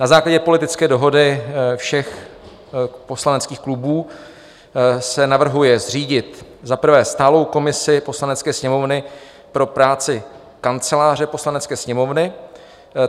Na základě politické dohody všech poslaneckých klubů se navrhuje zřídit za prvé stálou komisi Poslanecké sněmovny pro práci Kanceláře Poslanecké sněmovny.